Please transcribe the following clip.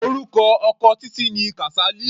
Orúkọ ọkọ Títí ni Kasali.